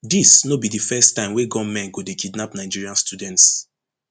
dis no be di first time wey gunmen go dey kidnap nigerian students